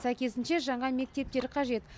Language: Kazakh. сәйкесінше жаңа мектептер қажет